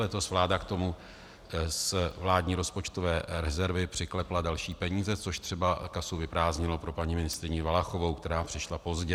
Letos vláda k tomu z vládní rozpočtové rezervy přiklepla další peníze, což třeba kasu vyprázdnilo pro paní ministryni Valachovou, která přišla pozdě.